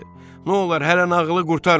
nolar hələ nağılı qurtarma.